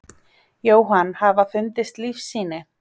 Jóhann: Hafa fundist lífssýni?